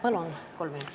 Palun kolm minutit juurde!